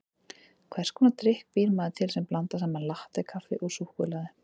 Hvers konar drykk býr maður til sem blandar saman latté-kaffi og súkkulaði?